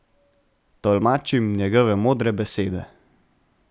Tolmačim njegove modre besede.